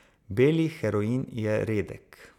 Beli heroin je redek.